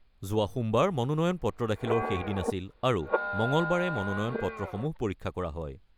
যোৱা সোমবাৰ মনোনয়ন-পত্ৰ দাখিলৰ শেষ দিন আছিল আৰু মঙলবাৰে মনোনয়ন-পত্ৰসমূহ পৰীক্ষা কৰা হয়।